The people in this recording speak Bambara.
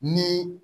Ni